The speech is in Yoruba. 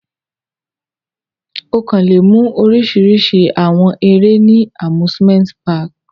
Ọkan le mu orisirisi awọn ere ni Amusement park